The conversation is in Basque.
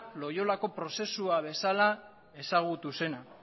loilako prozesua bezala ezagutu zena